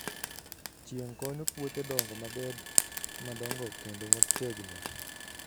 Chieng' konyo puothe dongo mabed madongo kendo motegno.